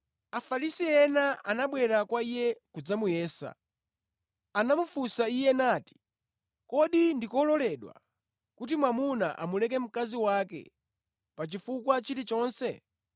Afarisi ena anabwera kwa Iye kudzamuyesa. Anamufunsa Iye nati, “Kodi ndikololedwa kuti mwamuna amuleke mkazi wake pa chifukwa china chilichonse?”